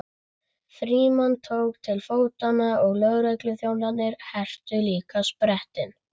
Frímann tók til fótanna og lögregluþjónarnir hertu líka sprettinn.